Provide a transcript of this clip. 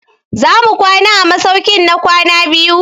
Za mu kwana a masaukin na kwana biyu?